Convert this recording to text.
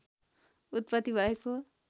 उत्पत्ति भएको